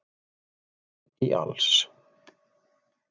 æ í alls